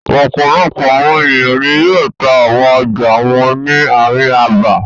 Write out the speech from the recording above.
Ọ̀pọ̀lọpọ̀ àwọn ènìyàn ni yóò ta àwọn ọjà wọn ni ààrin abà.